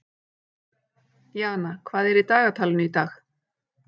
Jana, hvað er í dagatalinu í dag?